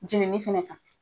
Jenini fana